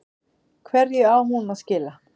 Hverju á hún að skila?